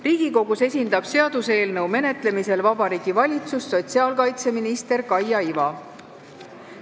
Riigikogus esindab seaduseelnõu menetlemisel Vabariigi Valitsust sotsiaalkaitseminister Kaia Iva.